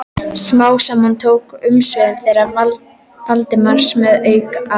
Smám saman tóku umsvif þeirra Valdimars að aukast.